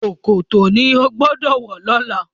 ṣòkòtò ní o gbódò wọ lọla!